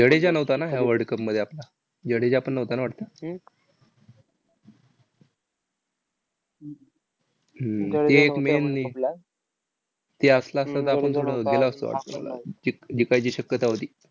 हम्म ते एक main ते असला असता तर, आपण गेलो असतो . जिक जिकायची शक्यता होती.